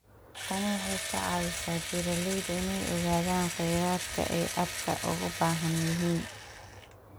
Tani waxay ka caawisaa beeralayda inay ogaadaan khayraadka ay aadka ugu baahan yihiin.